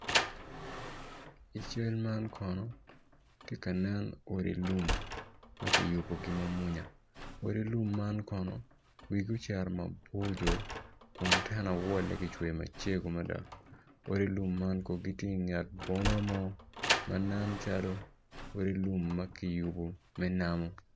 I cal man kono tye ka nen odi lum ma kiyubigi ma mwonya odi lum man kono wigi ocito maboco kun tenawal-le kicweyo macego mada odi lum man kono gitye ingwr boma mo man nen calo odi lum ma ki yubo me namo